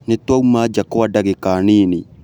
Nĩtwauma nja kwa ndagĩka nini